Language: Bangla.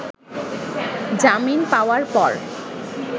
জামিন পাওযার পর